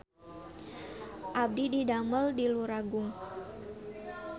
Abdi didamel di Luragung